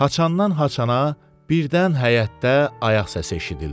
Haçandan haçana, birdən həyətdə ayaq səsi eşidildi.